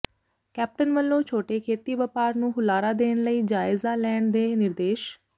captain ਵੱਲੋਂ ਛੋਟੇ ਖੇਤੀ ਵਪਾਰ ਨੂੰ ਹੁਲਾਰਾ ਦੇਣ ਲਈ ਜਾਇਜ਼ਾ ਲੈਣ ਦੇ ਨਿਰਦੇਸ਼